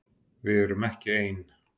Við erum ekki ein.